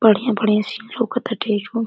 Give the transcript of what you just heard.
बढ़ियां-बढ़ियां scene लउकता ।